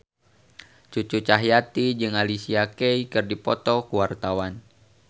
Cucu Cahyati jeung Alicia Keys keur dipoto ku wartawan